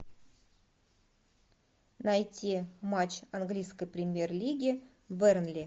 найти матч английской премьер лиги бернли